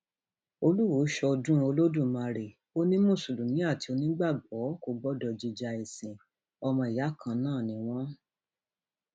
olùwọọ ṣọdún olódùmarè ó ní mùsùlùmí àti onígbàgbọ kò gbọdọ jíja ẹsìn ọmọ ìyá kan náà ni wọn